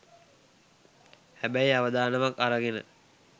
හැබැයි අවදානමක් අරගෙන